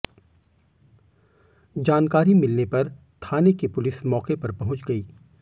जानकारी मिलने पर थाने की पुलिस मौके पर पहुंच गई